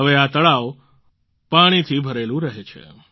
હવે આ તળાવ પાણથી ભરેલું રહે છે